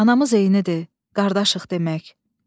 Anamız eyinidir, qardaşıq demək.